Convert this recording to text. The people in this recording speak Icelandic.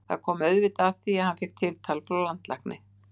Það kom auðvitað að því að ég fékk tiltal frá landlækni.